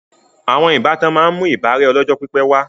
Àwọn ìbátan máa ń mú ìbárẹ́ ọjọ́ pípé wà